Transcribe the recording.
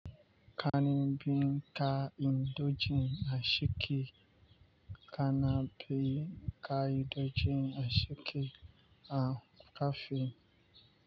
Kanin bikin ka indojin asiki kanabin ka indojin asiki a kafe.